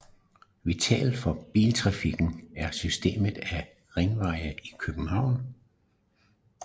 Vitalt for biltrafikken er systemet af ringveje i København